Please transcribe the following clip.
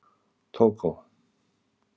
Tógó